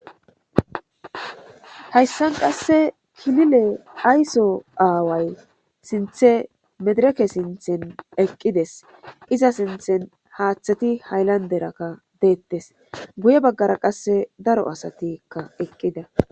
Hayisan qasse kilile ayso aaway sinthe medireke sinthen eqqides iza sinthen haatheti hayllanderakka deettes guye baggara qasse daro asatikka eqqida